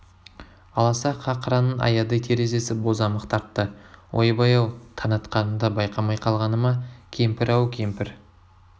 аласа қақыраның аядай терезесі бозамық тартты ойбай-ау таң атқанын да байқамай қалғаны ма кемпір ау кемпір